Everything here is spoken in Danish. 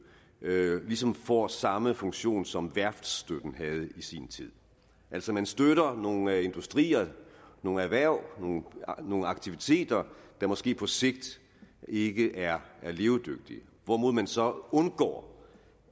ligesom får samme funktion som værftsstøtten havde i sin tid altså man støtter nogle industrier nogle erhverv nogle aktiviteter der måske på sigt ikke er levedygtige hvorimod man så undgår